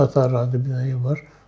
Xəta rayonunda bir dənə ev var.